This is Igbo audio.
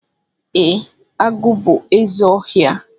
E, agụ bú ézè ọhịa.